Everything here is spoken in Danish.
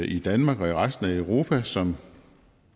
i danmark og i resten europa som